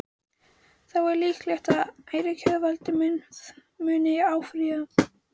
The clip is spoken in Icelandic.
Er þá líklegt að ákæruvaldið muni áfrýja?